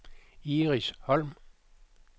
Iris Holm